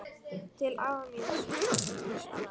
Til afa míns og ömmu svaraði